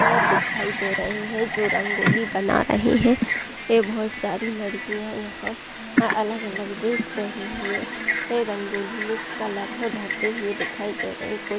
यह दिखाई दे रही है जो रंगोली बना रही है ये बहुत सारी लड़कियां यहाँ अलग-अलग ड्रेस पहने हुए है रंगोली में कलर भरते हुए दिखाई दे रही कुछ --